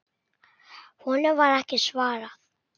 Honum var ekki svarað.